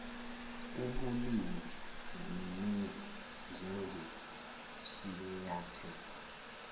ubulimi ningi njengesinyathelo